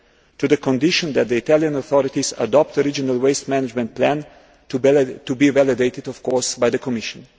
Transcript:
to the condition that the Italian authorities adopt a regional waste management plan, to be validated, of course, by the Commission.